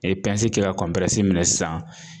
E ye kɛ ka minɛ sisan